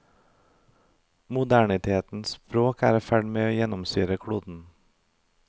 Modernitetens språk er i ferd med å gjennomsyre kloden.